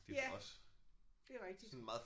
Ja det er rigtigt